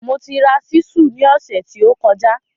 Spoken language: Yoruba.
Mo ti ra ṣísù ní ọ̀sẹ̀ tí ó kọjá